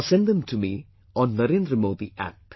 Or send them to me on NarendraModiApp